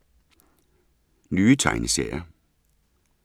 Nye tegneserier